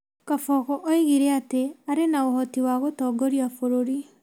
Kabogo oigire atĩ arĩ na ũhoti wa gũtongoria bũrũri.